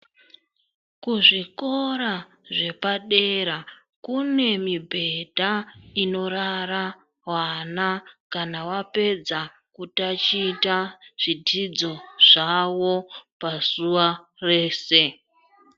Kuzvikora zvepadera kunemibhedha inorara vana kana vapedza kutaticha zvidzidzo zvavo pazuva rese.